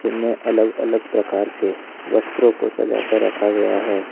में अलग अलग प्रकार के वस्त्रों को सजा कर रखा गया है।